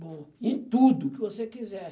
Bom, em tudo que você quiser.